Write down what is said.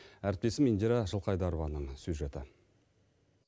әріптесім индира жылқайдарованың сюжеті